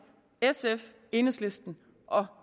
sf enhedslisten og